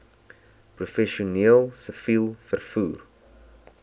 professioneel siviel vervoer